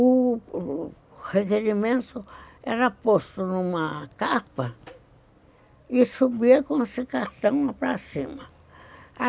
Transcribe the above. o requerimento era posto numa capa e subia com esse cartão para cima.